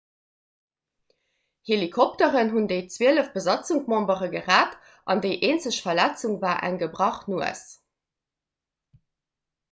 helikopteren hunn déi zwielef besatzungsmembere gerett an déi eenzeg verletzung war eng gebrach nues